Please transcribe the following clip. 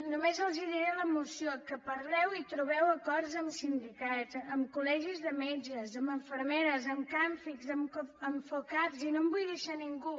només els diré la moció que parleu i trobeu acords amb sindicats amb col·legis de metges amb infermeres amb camfic amb focap i no em vull deixar ningú